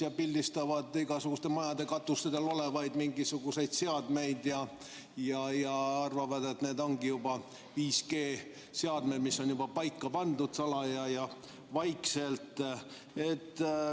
Nad pildistavad igasuguste majade katustel olevaid mingisuguseid seadmeid ja arvavad, et need on juba 5G seadmed, mis on salaja ja vaikselt juba paika pandud.